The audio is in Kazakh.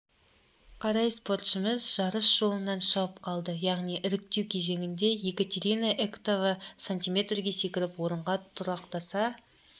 қарай спортшымыз жарыс жолынан шығып қалды яғни іріктеу кезеңінде екатерина эктова см-ге секіріп орынға тұрақтаса